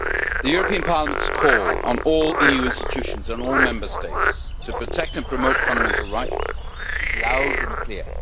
The European Parliament's call to all EU institutions and all Member States to protect and promote fundamental rights is loud and clear.